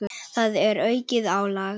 Það er aukið álag.